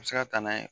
A bɛ se ka taa n'a ye